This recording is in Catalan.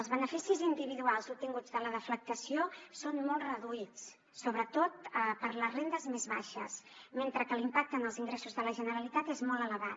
els beneficis individuals obtinguts de la deflactació són molt reduïts sobretot per a les rendes més baixes mentre que l’impacte en els ingressos de la generalitat és molt elevat